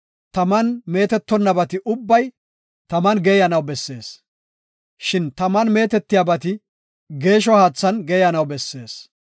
taman meetetonnabati ubbay taman geeyanaw bessees. Shin taman meetetiyabati geeshsho haathan geeyanaw bessees.